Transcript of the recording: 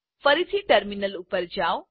ફરીથી ટર્મિનલ ઉપર જાઓ